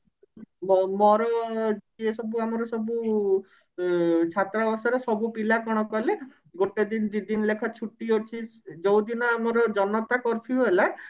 ମୋ ମୋର ଇଏ ସବୁ ଆମର ସବୁ ଉଁ ଛାତ୍ରବାସର ସବୁ ପିଲା କଣ କଲେ ଗୋଟେ ଦିନ ଦି ଦିନ ଲେଖା ଛୁଟି ଅଛି ଯୋଉ ଦିନ ଆମର ଜନତା curfew ହେଲା